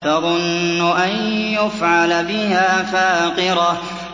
تَظُنُّ أَن يُفْعَلَ بِهَا فَاقِرَةٌ